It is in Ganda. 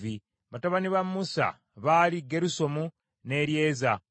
Batabani ba Musa baali Gerusomu ne Eryeza.